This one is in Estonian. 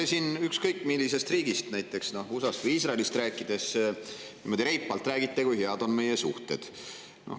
Te siin ükskõik millisest riigist, näiteks USA-st või Iisraelist, rääkides reipalt, kui head on meie suhted.